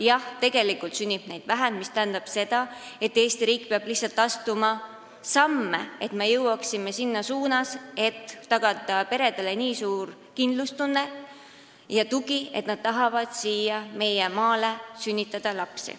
Jah, tegelikult sünnib neid vähem, mis tähendab seda, et Eesti riik peab astuma samme, jõudmaks selleni, et peredele on tagatud nii suur kindlustunne ja tugi, et nad tahavad siia, meie maale lapsi sünnitada.